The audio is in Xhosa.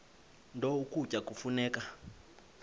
nto ukutya kufuneka